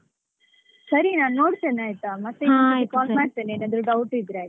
ಸರಿ ನಾನ್ ನೋಡ್ತೇನೆ ಆಯ್ತಾ ಮತ್ತೆಏನಾದ್ರು ಇದ್ರೆcall ಮಾಡ್ತೇನೆ ಏನಾದ್ರು doubt ಇದ್ರೆ ಆಯ್ತಾ .